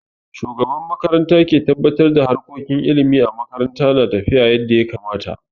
Shugaban makaranta ke tabbatar da harkokin ilimi a makaranta na tafiya yadda ya kamata.